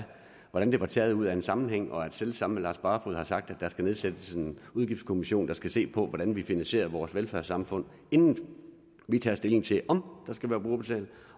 hvordan det var taget ud af en sammenhæng og at selv samme lars barfoed har sagt at der skal nedsættes en udgiftskommission der skal se på hvordan vi finansierer vores velfærdssamfund inden vi tager stilling til om der skal være brugerbetaling